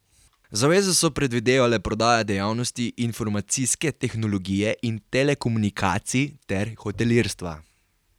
Zaveze so predvidevale prodajo dejavnosti informacijske tehnologije in telekomunikacij ter hotelirstva.